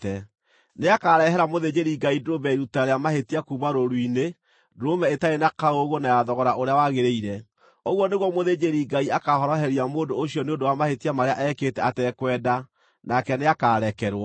Nĩakarehera mũthĩnjĩri-Ngai ndũrũme ya iruta rĩa mahĩtia kuuma rũũru-inĩ, ndũrũme ĩtarĩ na kaũũgũ na ya thogora ũrĩa wagĩrĩire. Ũguo nĩguo mũthĩnjĩri-Ngai akaahoroheria mũndũ ũcio nĩ ũndũ wa mahĩtia marĩa ekĩte atekwenda, nake nĩakarekerwo.